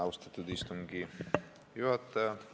Austatud istungi juhataja!